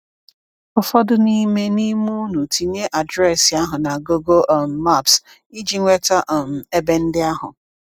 Ụfọdụ n’ime n’ime unu tinye adreesị ahụ na Google um Maps iji nweta um ebe ndị ahụ.